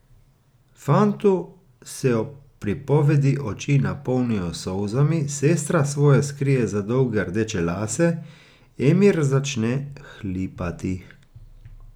Fantu se ob pripovedi oči napolnijo s solzami, sestra svoje skrije za dolge rdeče lase, Emir začne hlipati.